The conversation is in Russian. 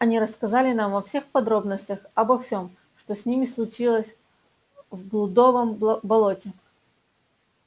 они рассказали нам во всех подробностях обо всем что с ними случилось в блудовом болоте